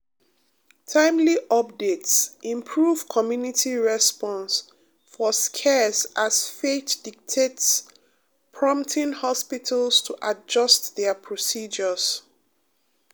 timely updates improve community response for scares as faith dictates prompting hospitals to adjust dia procedures